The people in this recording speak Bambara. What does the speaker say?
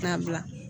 K'a bila